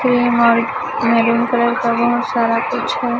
Cream और maroon colour का बहोत सारा कुछ है।